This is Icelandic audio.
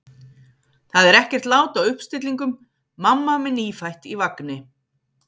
Það er ekkert lát á uppstillingum: mamma með nýfætt í vagni.